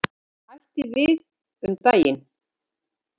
Hætti við um daginn.